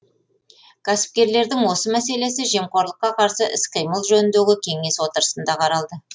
кәсіпкерлердің осы мәселесі жемқорлыққа қарсы іс қимыл жөніндегі кеңес отырысында қаралды